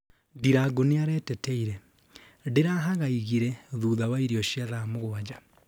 Ndirangũ nĩareteteire: Ndirahagaigire thutha wa irio cia thaa mũgwanja